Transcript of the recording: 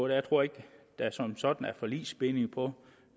jeg tror ikke der som sådan er forligsbinding på